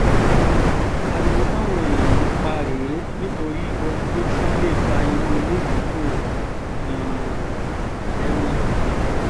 ariwo táwọn èèyàn ń pa rèé nítorí ohun tó tún lè fa irú eléyìí kò yààyàn lẹ́nu